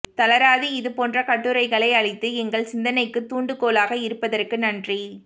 தளராது இது போன்ற கட்டுரைகளை அளித்து எங்கள் சிந்தனைக்குத் தூண்டுகோலாக இருப்பதற்கு நன்றி